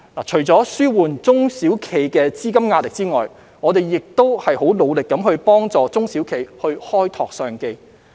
除了紓緩中小企的資金壓力外，我們亦致力幫助中小企開拓商機。